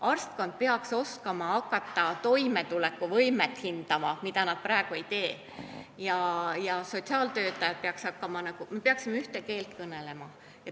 Arstkond peaks oskama toimetulekuvõimet hinnata – praegu nad seda ei tee – ja me peaksime sotsiaaltöötajatega ühte keelt kõnelema.